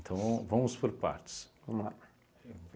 Então, vamos por partes. Vamos lá.